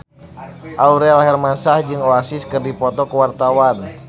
Aurel Hermansyah jeung Oasis keur dipoto ku wartawan